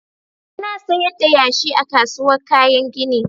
Ana sayar da yashi a kasuwar kayan gini.